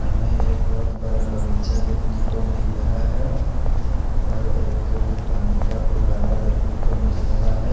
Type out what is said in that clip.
सामने एक बहत बड़ा बगीचा देख ने को मिल रहा है जहाँ पर एक पानी का फौआरा देख ने को मिल रहा है।